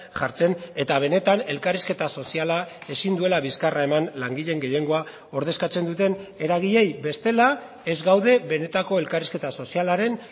jartzen eta benetan elkarrizketa soziala ezin duela bizkarra heman langileen gehiengoa ordezkatzen duten eragileei bestela ez gaude benetako elkarrizketa sozialaren